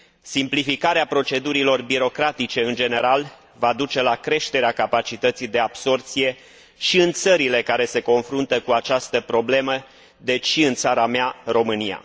Simplificarea procedurilor birocratice în general va duce la creșterea capacității de absorbție și în țările care se confruntă cu această problemă, deci și în țara mea, România.